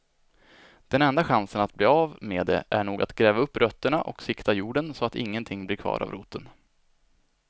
Den enda chansen att bli av med det är nog att gräva upp rötterna och sikta jorden så att ingenting blir kvar av roten.